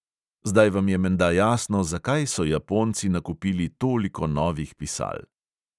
Zdaj vam je menda jasno, zakaj so japonci nakupili toliko novih pisal.